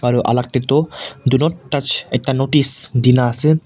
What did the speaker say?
aru alag te tu do not touch ekta notice Dena ase.